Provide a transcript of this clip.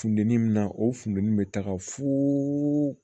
Fundɛnni na o funtɛni bɛ taga foo